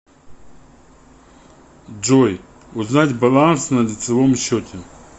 джой узнать баланс на лицивом счете